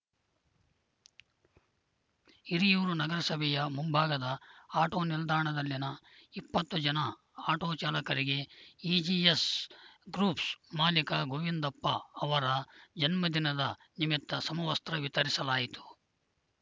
ಹಿರಿಯೂರು ನಗರಸಭೆಯ ಮುಂಭಾಗದ ಆಟೋ ನಿಲ್ದಾಣದಲ್ಲಿನ ಇಪ್ಪತ್ತು ಜನ ಆಟೋ ಚಾಲಕರಿಗೆ ಇಜಿಎಸ್‌ ಗ್ರೂಫ್ಸ್‌ ಮಾಲೀಕ ಗೋವಿಂದಪ್ಪ ಅವರ ಜನ್ಮದಿನದ ನಿಮಿತ್ತ ಸಮವಸ್ತ್ರ ವಿತರಿಸಲಾಯಿತು